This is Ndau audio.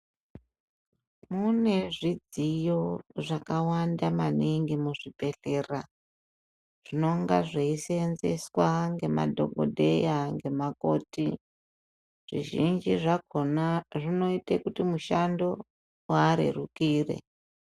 Mune zvidziyo zvakawanda maningi mu zvibhedhlera zvinonga zveyi senzeswa nge madhokodheya nge makoti zvi zhinji zvakona zvinoite kuti mushando uarerukire.